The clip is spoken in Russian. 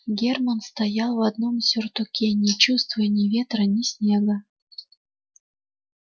германн стоял в одном сюртуке не чувствуя ни ветра ни снега